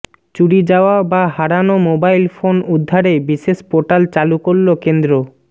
চুরি যাওয়া বা হারানো মোবাইল ফোন উদ্ধারে বিশেষ পোর্টাল চালু করল কেন্দ্র